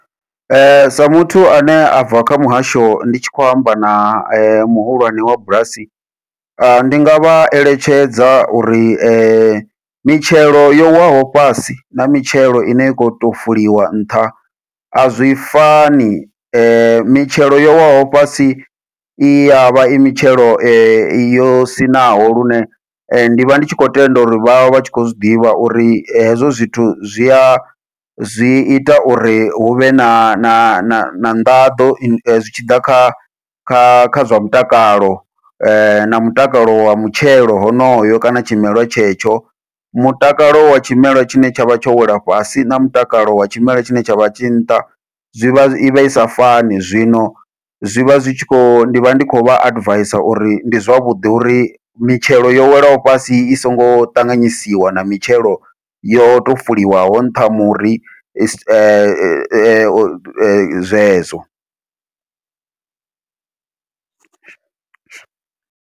Sa muthu ane a bva kha muhasho ndi tshi khou amba na muhulwane wa bulasi, ndi nga vha eletshedza uri mitshelo yo waho fhasi na mitshelo ine ya kho to fuliwa nṱha azwi fani, mitshelo yo waho fhasi i yavha i mitshelo yo siṋaho lune ndivha ndi tshi khou tenda uri vha vha vhatshi khou zwiḓivha uri hezwo zwithu zwia zwi ita uri huvhe na na na na nḓaḓo zwi tshi ḓa kha kha kha zwa mutakalo na mutakalo wa mutshelo honoyo kana tshimela tshetsho. Mutakalo wa tshimela tshine tshavha tsho wela fhasi na mutakalo wa tshimela tshine tshavha tshi nṱha, zwivha i vha i sa fani zwino zwivha zwi tshi kho ndi vha ndi khou vha advisor uri ndi zwavhuḓi uri mitshelo yo welaho fhasi i songo ṱanganyisiwa na mitshelo yo to fuwiwaho nṱha muri sa zwezwo.